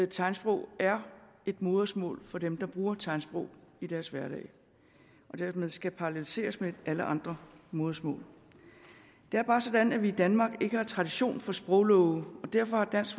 tegnsprog er et modersmål for dem der bruger tegnsprog i deres hverdag og dermed skal paralleliseres med alle andre modersmål det er bare sådan at vi i danmark ikke har tradition for sproglove og derfor har dansk